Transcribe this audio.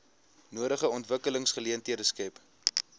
nodige ontwikkelingsgeleenthede skep